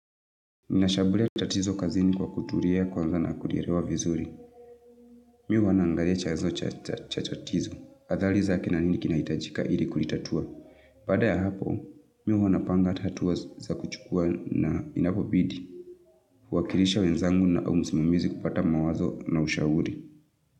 Ninashambulia tatizo kazini kwa kutulia kwanza na kulielewa vizuri. Mi huwa naangalia chanzo cha tatizo. Adhali za kina nini kinahitajika ili kulitatua. Baada ya hapo, mi huwa napanga tatua za kuchukua na inapobidi. Kuwakilisha wenzangu na usimamizi na kupata mawazo na ushauri.